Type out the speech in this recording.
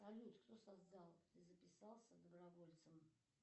салют кто создал и записался добровольцем